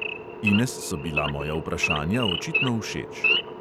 Ines so bila moja vprašanja očitno všeč.